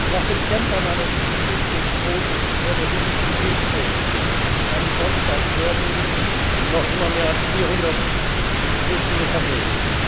Nach dem Kentern eines Flüchtlingsboots vor der libyschen Küste am Sonntag werden noch immer mehr als 400 Flüchtlinge vermisst.